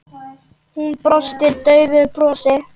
Hún brosti daufu brosi.